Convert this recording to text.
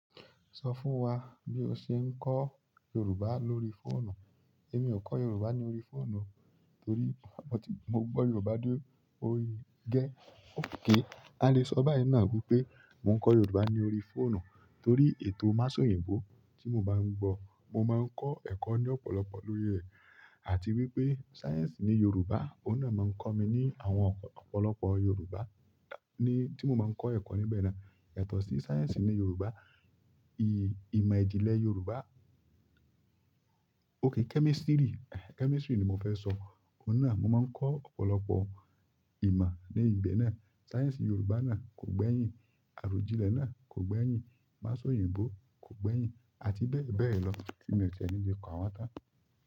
Sọ fún wa bí o ṣe ń kọ́ Yorùbá lórí fóònù. Èmi ò kọ́ Yorùbá ní orí fóònù o torí mo gbọ́ Yorùbá dé orí i gẹ́. Ókè, a lè sọ báyìí náà wípé mò ń kọ́ Yorùbá ní orí fóònù torí ètò Masoinbo tí mo máa ń gbọ̀. Mo máa ń kọ́ ẹ̀kọ́ ní ọ̀pọ̀lọpọ̀ lórí ẹ̀, àti wípé sáyẹ̀nsì ní Yorùbá, ó náà máa ń kọ́ mi ní àwọn ọ̀pọ̀lọpọ̀ Yorùbá. Tí mò maa n kọ́ ẹ̀kọ́ níbẹ̀ náà, ẹ̀tọ́ sí sáyẹ̀nsì ní Yorùbá, ì-ìmọ̀ ìjìnlẹ̀ Yorùbá. Ókè kẹ́mísítírì, kẹ́mísítírì ni mo fẹ́ sọ, oun náà mo máa ń kọ́ ọ̀pọ̀lọpọ̀ ìmọ̀ ní ibẹ̀ náà. Sáyẹ̀nsì ni Yorùbá náà kò gbẹ́yìn, àròjínlẹ̀ náà kò gbẹ́yìn, Masoyinbo kò gbẹ́yìn, àti bẹ́ẹ̀ bẹ́ẹ̀ lọ tí mi o ti ni lè ka wọn tán.